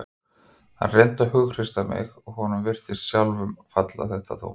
Hann reyndi að hughreysta mig og honum virtist sjálfum falla þetta þungt.